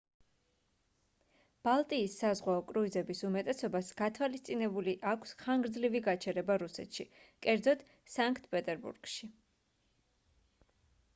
ბალტიის საზღვაო კრუიზების უმეტესობას გათვალისწინებული აქვს ხანგრძლივი გაჩერება რუსეთში კერძოდ სანქტ-პეტერბურგში